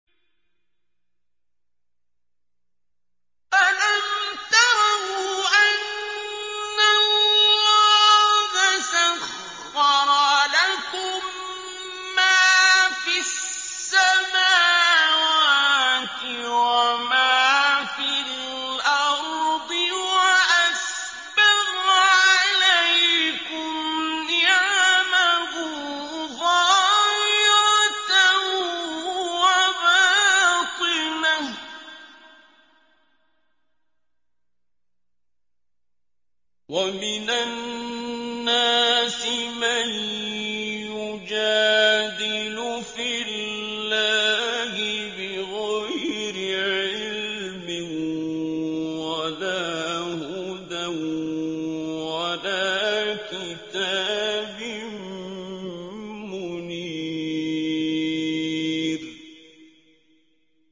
أَلَمْ تَرَوْا أَنَّ اللَّهَ سَخَّرَ لَكُم مَّا فِي السَّمَاوَاتِ وَمَا فِي الْأَرْضِ وَأَسْبَغَ عَلَيْكُمْ نِعَمَهُ ظَاهِرَةً وَبَاطِنَةً ۗ وَمِنَ النَّاسِ مَن يُجَادِلُ فِي اللَّهِ بِغَيْرِ عِلْمٍ وَلَا هُدًى وَلَا كِتَابٍ مُّنِيرٍ